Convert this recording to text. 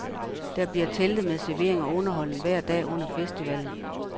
Der bliver telte med servering og underholdning hver dag under festivalen.